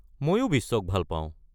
মইও বিশ্বক ভাল পাওঁ।